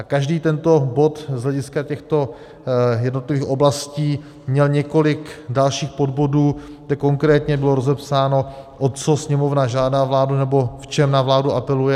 A každý tento bod z hlediska těchto jednotlivých oblastí měl několik dalších podbodů, kde konkrétně bylo rozepsáno, o co Sněmovna žádá vládu nebo v čem na vládu apeluje.